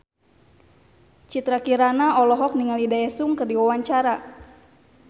Citra Kirana olohok ningali Daesung keur diwawancara